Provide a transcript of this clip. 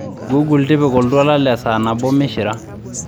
google tipika oltwala le saa nabo mishira